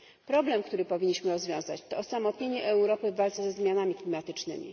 Problem, który powinniśmy rozwiązać, to osamotnienie Europy w walce ze zmianami klimatycznymi.